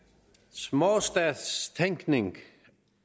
småstatstænkning